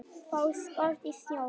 Fótspor í snjónum.